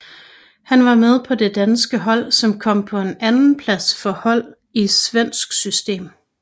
Han var med på det danske hold som kom på en andenplads for hold i svensk system